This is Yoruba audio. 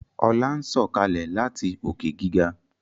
Ola ń Sọkalẹ láti Òkè-gíga